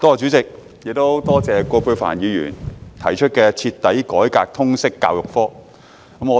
代理主席，多謝葛珮帆議員提出"徹底改革通識教育科"議案。